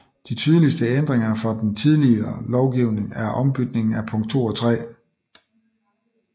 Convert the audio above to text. De tydeligeste ændringer fra den tidligere lovgivning er ombytningen af punkt 2 og 3